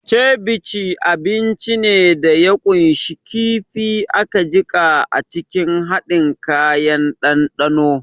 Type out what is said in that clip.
Ceviche abinci ne da ya ƙunshi kifi aka jiƙa a cikin haɗin kayan dandano.